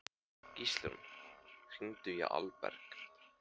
Gíslrún, hringdu í Alberg.